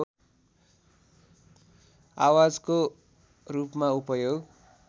आवाजको रूपमा उपयोग